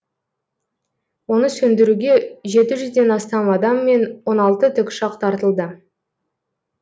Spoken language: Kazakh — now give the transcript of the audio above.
оны сөндіруге жеті жүзден астам адам мен он алты тікұшақ тартылды